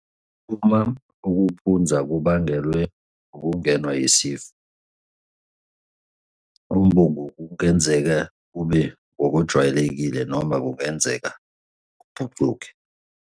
Uma ukuphunza kubangelwe ngokungenwa yisifo, umbungu kungenzeka kube ngowejwayelekile noma kungenzeka ubhucuke.